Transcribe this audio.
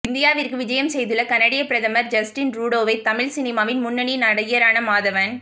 இந்தியாவிற்கு விஜயம் செய்துள்ள கனேடிய பிரதமர் ஜஸ்டின் ரூடோவை தமிழ் சினிமாவின் முன்னணி நடிகரான மாதவன்